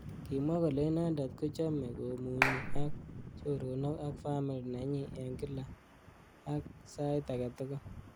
Kimwa kole inendet kochamei komunyi ak.choronok ak family nenyi eng kila ak.sait age tugul